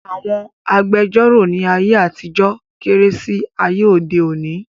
Àwọn agbẹjọ́rọ̀ ní ayé àtijọ́ kéré sí ayé òde òni